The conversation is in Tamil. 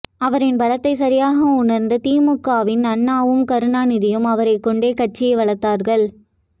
அவரின் பலத்தை சரியாக உணர்ந்த திமுகவின் அண்ணாவும் கருணாநிதியும் அவரை கொண்டே கட்சி வளர்த்தார்கள்